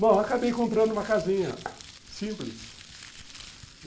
Bom, acabei comprando uma casinha simples.